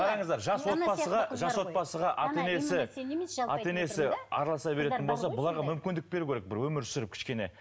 қараңыздар жас отбасыға жас отбасыға ата енесі ата енесі араласа беретін болса бұларға мүмкіндік беру керек бір өмір сүріп кішкене